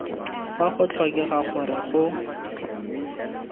fa go tlhokega gore go